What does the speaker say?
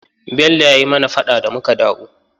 Bello ya yi mana faɗa da muka dawo.